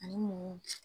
Ani mun